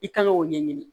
I kan k'o ɲɛɲini